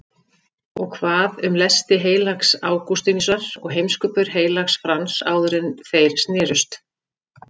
Og hvað um lesti heilags Ágústínusar og heimskupör heilags Frans áðuren þeir snerust?